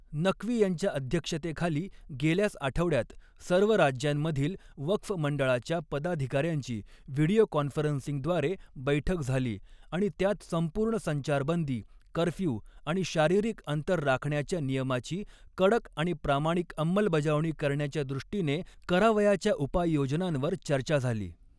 नकवी यांच्या अध्यक्षतेखाली गेल्याच आठवड्यात सर्व राज्यांमधील वक़्फ़ मंडळांच्या पदाधिकाऱ्यांची व्हिडिओ कॉन्फरन्सिंगद्वारे बैठक झाली आणि त्यात संपूर्ण संचारबंदी, कर्फ्यू आणि शारीरिक अंतर राखण्याच्या नियमाची कडक आणि प्रामाणिक अंमलबजावणी करण्याच्या दृष्टीने करावयाच्या उपाययोजनांवर चर्चा झाली.